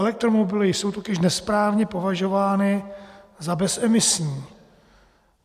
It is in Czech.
Elektromobily jsou totiž nesprávně považovány za bezemisní.